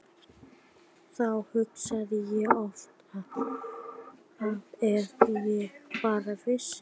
Þá hugsa ég oft að ef þær bara vissu.